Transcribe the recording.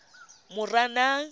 moranang